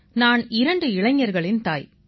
நான் இரண்டு இளைஞர்களின் தாய்